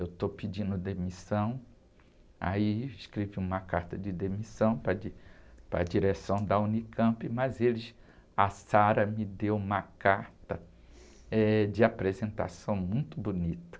Eu estou pedindo demissão, aí escrevi uma carta de demissão para a di, para a direção da unicampi, mas eles, a me deu uma carta, eh, de apresentação muito bonita.